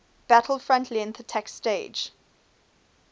battlefront length attack staged